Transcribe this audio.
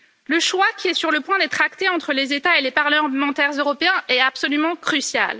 Le choix qui est sur le point d'être acté entre les États et les parlementaires européens est absolument crucial.